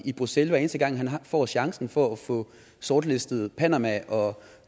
i bruxelles hver eneste gang han får chancen for at få sortlistet panama og